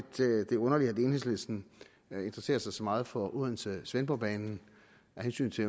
det er underligt at enhedslisten interesserer sig så meget for odense svendborg banen af hensyn til